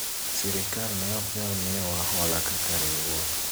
sirikal ne ok nyal miyo wa hola kaka riwruok